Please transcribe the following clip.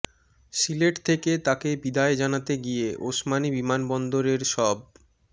সিলেট থেকে তাকে বিদায় জানাতে গিয়ে ওসমানী বিমানবন্দরের সব